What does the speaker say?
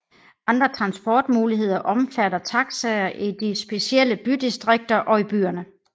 Andre transportmuligheder omfatter taxier i de specielle bydistrikter og i byerne